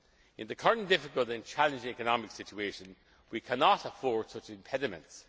times. In the current difficult and challenging economic situation we cannot afford such impediments.